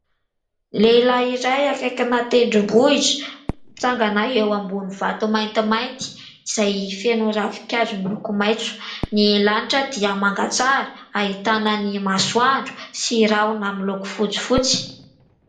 Lehilahy iray akaikina tendrombohitra, mitsangana eo ambon'ny vatomaintimainty izay feno ravikazo miloko maitso. Ny lanitra dia manga tsara ahitana ny masoandro sy rahona miloko fotsifotsy.